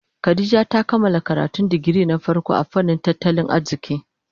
Khadijah ta kammala karatun digiri na farko a fannin tattalin arziki.